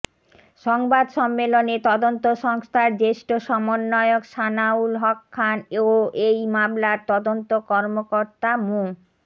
সংবাদ সম্মেলনে তদন্ত সংস্থার জ্যেষ্ঠ সমন্বয়ক সানাউল হক খান ও এই মামলার তদন্ত কর্মকর্তা মো